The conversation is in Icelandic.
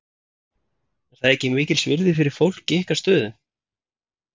Er það ekki mikils virði fyrir fólk í ykkar stöðu?